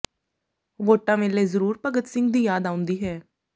ਵੋਟਾਂ ਵੇਲੇ ਜ਼ਰੂਰ ਭਗਤ ਸਿੰਘ ਦੀ ਯਾਦ ਆਉਂਦੀ ਹੈ